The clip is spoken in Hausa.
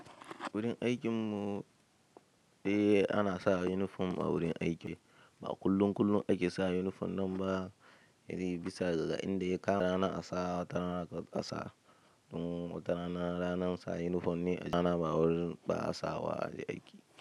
Wurin aikin mu dai ana sa unifom a wurin aiki, ba kullum kullum ake sa unifom nan ba, irin bisa ga inda ya kama wata rana asa wata rana ba asa. Wata rana ranar sa unifom ne aiki, wata rana ba a sawa aje aiki.